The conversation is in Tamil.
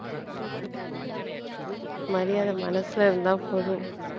மரியாதை மனசுல இருந்த போதும்